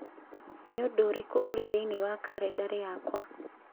Nĩ ũndũ ũrĩkũ ũri thĩinĩ wa kalendarĩ yakwa